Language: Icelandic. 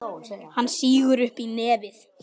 Hún sýgur upp í nefið.